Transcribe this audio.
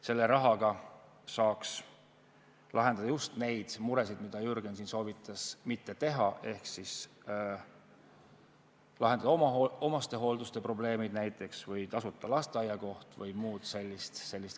Selle rahaga saaks lahendada just neid muresid, mida Jürgen siin soovitas mitte teha, ehk lahendada omastehoolduse probleeme või pakkuda tasuta lasteaiakohti või muud sellist.